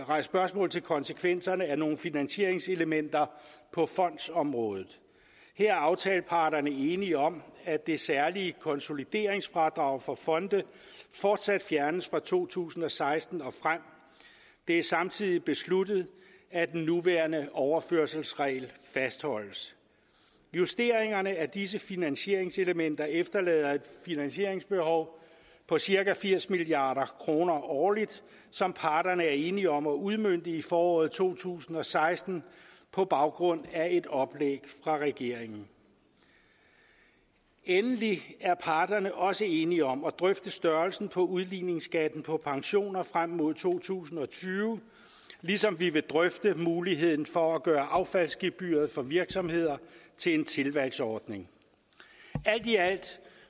rejst spørgsmål til konsekvenserne af nogle finansieringselementer på fondsområdet her er aftaleparterne enige om at det særlige konsolideringsfradrag for fonde fortsat fjernes fra to tusind og seksten og frem det er samtidig besluttet at den nuværende overførselsregel fastholdes justeringerne af disse finansieringselementer efterlader et finansieringsbehov på cirka firs milliard kroner årligt som parterne er enige om at udmønte i foråret to tusind og seksten på baggrund af et oplæg fra regeringen endelig er parterne også enige om at drøfte størrelsen på udligningsskatten på pensioner frem mod to tusind og tyve ligesom vi vil drøfte muligheden for at gøre affaldsgebyret for virksomheder til en tilvalgsordning alt i alt